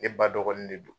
Ne ba dɔgɔnin ne don